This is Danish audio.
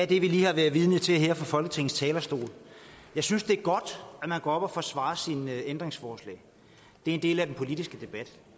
det vi lige har været vidne til her fra folketingets talerstol jeg synes det er godt at man går op og forsvarer sine ændringsforslag det er en del af den politiske debat